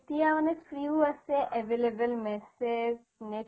এতিয়া মানে free ও আছে available message net